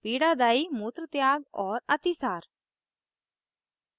* पीड़ादायी मूत्रत्याग और अतिसार